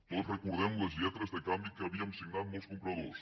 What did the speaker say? tots recordem les lletres de canvi que havíem signat molts compradors